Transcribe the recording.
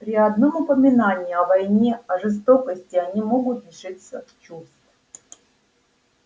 при одном упоминании о войне о жестокости они могут лишиться чувств